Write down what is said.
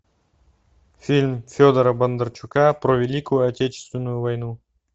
фильм федора бондарчука про великую отечественную войну